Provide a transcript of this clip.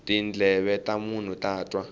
tindleve ta munhu ta twa